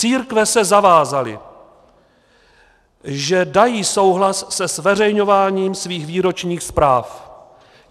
Církve se zavázaly, že dají souhlas se zveřejňováním svých výročních zpráv.